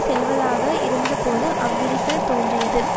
செல்வதாக இருந்தபோது அவ்விரிசல் தோன்றியது